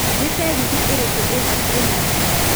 nĩ tegithi ĩrikũ ĩhakuhi nanie